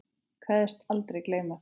Kveðst aldrei gleyma þeim.